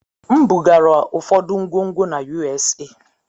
M bugara ụfọdụ ngwongwo na USA.